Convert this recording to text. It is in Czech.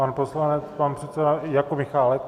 Pan poslanec pan předseda Jakub Michálek?